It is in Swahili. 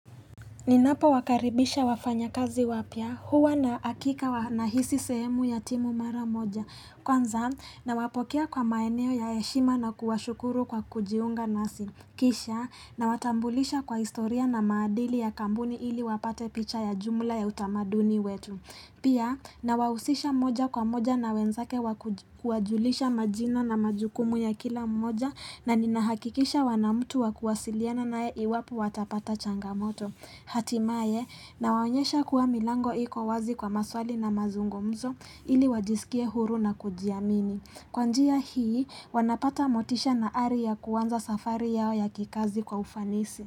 Ninapowakaribisha wafanyakazi wapya, huwa na hakika nahisi sehemu ya timu mara moja. Kwanza, nawapokea kwa maeneo ya heshima na kuwashukuru kwa kujiunga nasi. Kisha, nawatambulisha kwa historia na maadili ya kampuni ili wapate picha ya jumla ya utamaduni wetu. Pia, nawahusisha moja kwa moja na wenzake wakuji kuwajulisha majina na majukumu ya kila moja na ninahakikisha wana mtu wa kuwasiliana naye iwapo watapata changamoto. Hatimaye nawaonyesha kuwa milango iko wazi kwa maswali na mazungumzo ili wajisikie huru na kujiamini Kwa njia hii wanapata motisha na ari kuanza safari yao ya kikazi kwa ufanisi.